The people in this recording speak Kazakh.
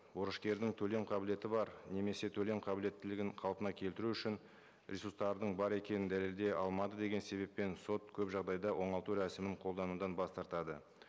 борышкердің төлем қабілеті бар немесе төлем қабілеттілігін қалпына келтіру үшін ресурстардың бар екенін дәлелдей алмады деген себеппен сот көп жағдайда оңалту рәсімін қолданудан бас тартады